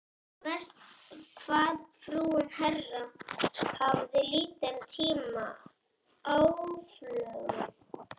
Verst hvað frúin Bera hafði lítinn tíma aflögu.